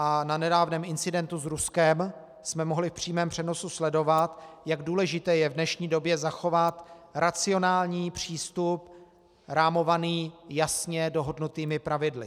A na nedávném incidentu s Ruskem jsme mohli v přímém přenosu sledovat, jak důležité je v dnešní době zachovat racionální přístup rámovaný jasně dohodnutými pravidly.